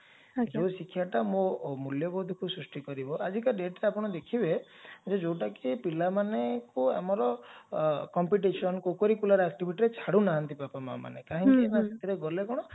ଯଉ ଶିକ୍ଷାଟା ମୋ ମୂଲ୍ଯବୋଧକୁ ସୃଷ୍ଟି କରିବ ଆଜିକା dateରେ ଆପଣ ଦେଖିବେ ଯେ ଯାଉଟା କି ପିଲାମାନଙ୍କୁ ଆମର competition co-curricular activityରେ ଛାଡୁନାହାନ୍ତି ବାପା ମାମାନେ କାହିଁକି ନା ସେଥିରେ ଗଲେ କଣ